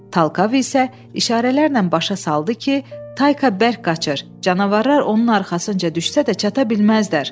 Talkav isə işarələrlə başa saldı ki, Tayka bərk qaçır, canavarlar onun arxasınca düşsə də çata bilməzlər.